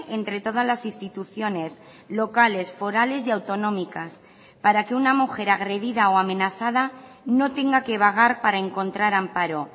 entre todas las instituciones locales forales y autonómicas para que una mujer agredida o amenazada no tenga que vagar para encontrar amparo